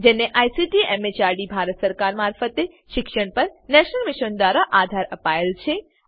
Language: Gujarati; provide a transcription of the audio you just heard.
જેને આઈસીટી એમએચઆરડી ભારત સરકાર મારફતે શિક્ષણ પર નેશનલ મિશન દ્વારા આધાર અપાયેલ છે